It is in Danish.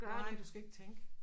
Nej du skal ikke tænke